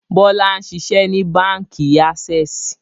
Bọlá ń ṣiṣẹ́ ni Báńkì "Access"